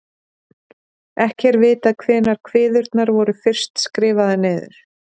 ekki er vitað hvenær kviðurnar voru fyrst skrifaðar niður